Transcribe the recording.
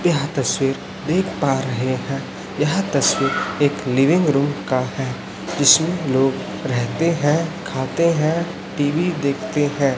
यह तस्वीर देख पा रहे है यह तस्वीर एक लीविंग रुम का है जीसमें लोग रहते है खाते है टी_वी देखते है।